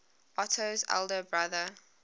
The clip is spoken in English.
otto's elder brother